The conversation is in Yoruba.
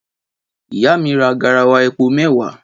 Ìyá mi ra garawa epo mẹwa